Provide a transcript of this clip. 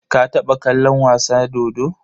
Ka taɓa kallon wasa dodo?